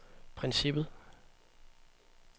princippet